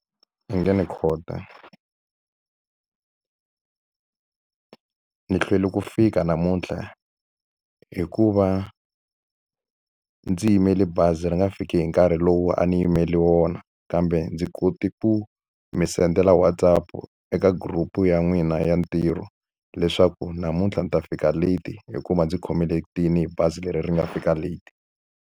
I nge ni . Ndzi hlwele ku fika namuntlha hikuva ndzi yimele bazi ri nga fiki hi nkarhi lowu a ni yimele wona, kambe ndzi kote ku mi sendela WhatsApp-u eka group-u ya n'wina ya ntirho. Leswaku namuntlha ndzi ta fika late hikuva ndzi khomiletile hi bazi leri ri nga fika late.